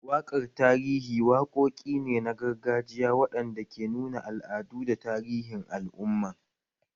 Waƙar tarihi waƙoƙi ne na gargajiya waɗanda ke nuna al'adu da tarihin al'umman